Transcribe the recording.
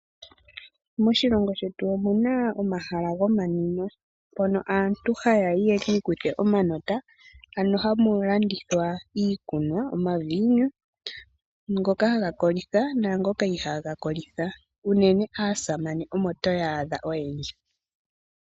Moshilongo shetu omuna omahala gomanwimo mono aantu hayayi yekiikuthe omanota, ano hamu landithwa iikunwa, omaviinu, ngoka haga kolitha naangoka ihaa ga kolitha. Unene aasamane omo toya adha oyendji.